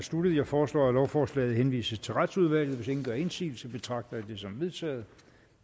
sluttet jeg foreslår at lovforslaget henvises til retsudvalget hvis ingen gør indsigelse betragter jeg det som vedtaget